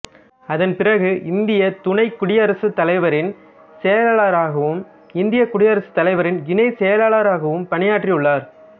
அதன் பிறகு இந்தியத் துணை குடியரசுத் தலைவரின் செயலாளராகவும் இந்தியக் குடியரசுத் தலைவரின் இணை செயலாளராகவும் பணியாற்றியுள்ளார்